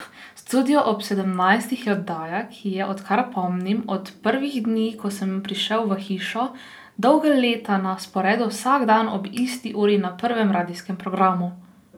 Studio ob sedemnajstih je oddaja, ki je, odkar pomnim, od prvih dni, ko sem prišel v hišo, dolga leta na sporedu vsak dan ob isti uri na prvem radijskem programu.